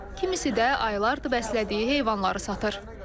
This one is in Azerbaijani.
Kimisi də aylardır bəslədiyi heyvanları satır.